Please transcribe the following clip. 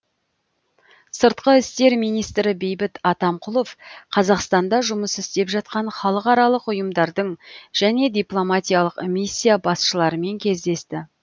сыртқы істер министрі бейбіт атамқұлов қазақстанда жұмыс істеп жатқан халықаралық ұйымдардың және дипломатиялық миссия басшыларымен кездесті